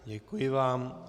Děkuji vám.